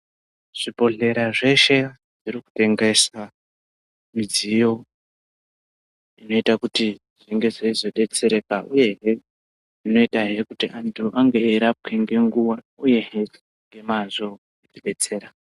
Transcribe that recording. Zvibhedhlera zveshe zviri kutengesa midziyo inoita kuti zvinge zveizodetsereka uyehe zvinoitahe kuti antu ange eirapwe ngenguva uyehe ngemazvo kutibetsera.